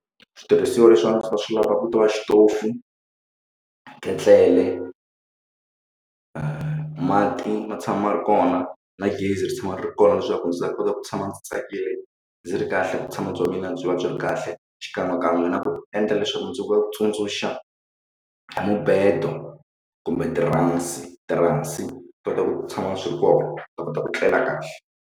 Switirhisiwa leswi a ndzi ta swi lava ku tova xitofu ketlele mati ma tshama ma ri kona na gezi ri tshama ri ri kona leswaku ndzi ta kota ku tshama ndzi tsakile ndzi ri kahlena vutshamo bya mina byi va byi ri kahle xikan'we kan'we na ku endla leswaku ndzi vatsundzuxa mubedo kumbe tiransi, tiransi swi ta kota ku tshama swi ri kona ni ta kota ku tlela kahle.